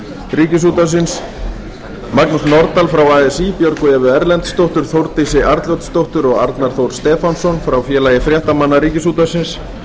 ríkisútvarpsins magnús norðdahl frá así björgu evu erlendsdóttur þórdísi arnljótsdóttur og arnar þór stefánsson frá félagi fréttamanna ríkisútvarpsins